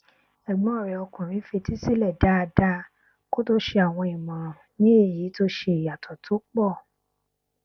ẹgbọn rẹ ọkùnrin fetísílẹ dáadáa kó tó ṣe àwọn ìmọràn ní èyí tó ṣe ìyàtọ tó pọ